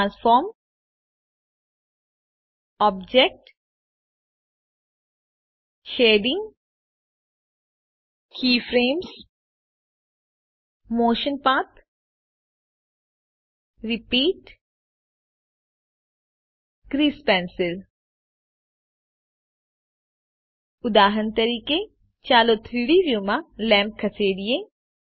transform object shading keyframes motion paths repeat grease pencil ઉદાહરણ તરીકે ચાલો 3ડી વ્યુમાં લેમ્પ ખસેડીએ